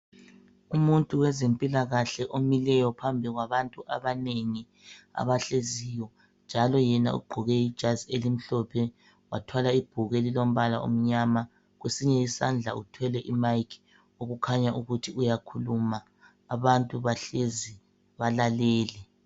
Umuntu wezempilakahle omileyo phambi kwabantu abanengi abahleziyo njalo yena ugqoke ijazi elimhlophe wathwala ibhuku elilombala omnyama kwesinye isandla uthwele imayiki okukhanya ukuthi uyakhuluma. Abantu bahlezi balalele.